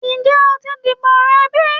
Njẹ o ti dibo rẹ bi?